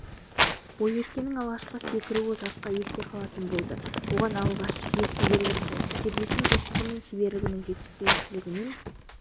бойжеткеннің алғашқы секіруі ұзаққа есте қалатын болды оған жел кедергі жасады тәжірибесінің жоқтығы мен шеберлігінің жетіспеушілігінен